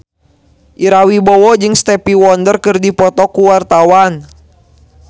Ira Wibowo jeung Stevie Wonder keur dipoto ku wartawan